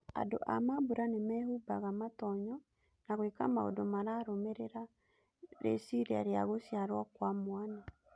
Andũ a mambũra nĩmehumbaga matonyo na gwĩka maũndũ mararũmĩrĩra rĩciria rĩa gũciarwo kwa mwana.